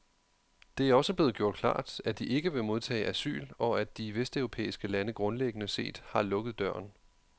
Det er også blevet gjort klart, at de ikke vil modtage asyl, og at de vesteuropæiske lande grundlæggende set har lukket døren.